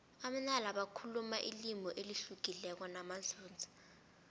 amanala bakhuluma ilimi elihlukileko namanzunza